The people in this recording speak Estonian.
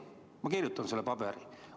Ma kirjutan selle paberi.